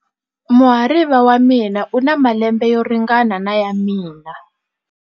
Muhariva wa mina u na malembe yo ringana na ya mina.